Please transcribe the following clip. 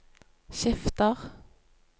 skifter